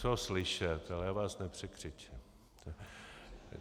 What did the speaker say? Co slyšet, ale já vás nepřekřičím.